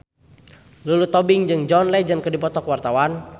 Lulu Tobing jeung John Legend keur dipoto ku wartawan